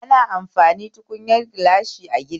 Ana amfani tukunyar gilashi ayi girki